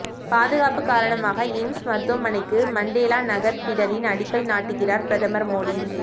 பாதுகாப்பு காரணமாக எய்ம்ஸ் மருத்துவமனைக்கு மண்டேலா நகர் திடலில் அடிக்கல் நாட்டுகிறார் பிரதமர் மோடி